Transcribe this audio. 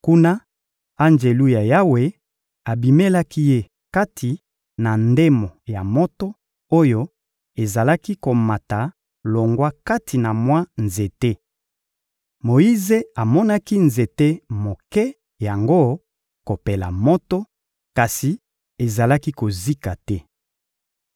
Kuna, Anjelu ya Yawe abimelaki ye kati na ndemo ya moto oyo ezalaki komata longwa kati na mwa nzete. Moyize amonaki nzete moke yango kopela moto, kasi ezalaki kozika te.